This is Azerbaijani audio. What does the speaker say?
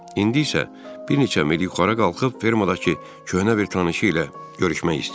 İndi isə bir neçə mil yuxarı qalxıb fermadakı köhnə bir tanışı ilə görüşmək istəyir.